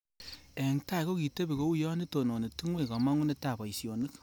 Eng tai kokitebi kouyo itononi tungwek kamongunetab boisionik